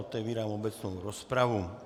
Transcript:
Otevírám obecnou rozpravu.